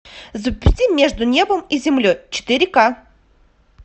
запусти между небом и землей четыре ка